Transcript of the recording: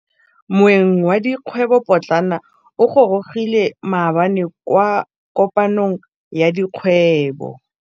Moêng wa dikgwêbô pôtlana o gorogile maabane kwa kopanong ya dikgwêbô.